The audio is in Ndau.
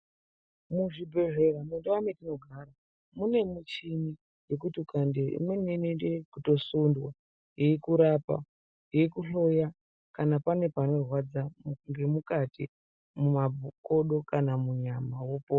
Muxvibhedhlera mundau mwetinogara mune muchini yekuti ukaendeyo imweni inoite ekutosundwa yekurapa yeikuhloya kana pane panorwadza ngemukati mumabho kodo kana munyama wopo.